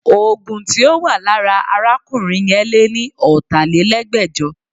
Oògùn tí ó wà lára arákùnrin yẹn lé ní ọ̀tálelẹ́gbẹ́jọ